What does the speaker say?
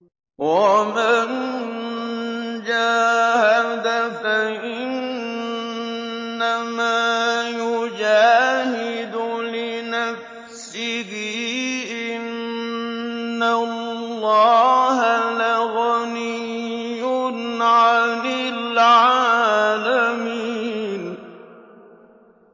وَمَن جَاهَدَ فَإِنَّمَا يُجَاهِدُ لِنَفْسِهِ ۚ إِنَّ اللَّهَ لَغَنِيٌّ عَنِ الْعَالَمِينَ